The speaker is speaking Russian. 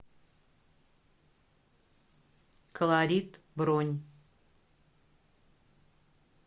колорит бронь